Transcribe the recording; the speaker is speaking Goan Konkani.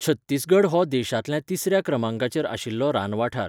छत्तीसगड हो देशांतल्या तिसर्या क्रमांकाचेर आशिल्लो रानवाठार.